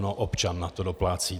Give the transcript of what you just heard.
No občan na to doplácí.